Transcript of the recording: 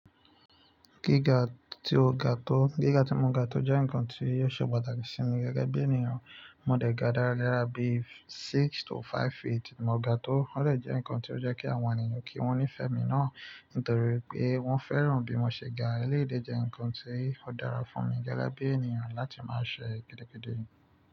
Gíga tí o ga tó, gíga tí mo ga tó jẹ́ ǹkan tí yóò ṣe pàtàkì sí mi gẹ́gẹ́ bí ènìyàn. Mo dẹ̀ ga dára bí six to five feet mo ga tó, ó lè jẹ́ ǹkan tí ó jẹ́ kí àwọn ènìyàn kí wọ́n nífẹ̀ẹ́ mi náà, nítorí pé wọ́n fẹ́ràn bí mo ṣe ga. Élédè jẹ́ ǹkan tí ó dára fún mi gẹ́gẹ́ bí ènìyàn láti máa ṣe gidigidi.